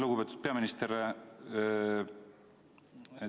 Lugupeetud peaminister!